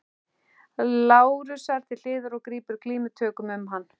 Lárusar til hliðar og grípur glímutökum um hann.